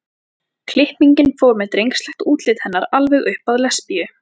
klippingin fór með drengslegt útlit hennar alveg upp að lesbíu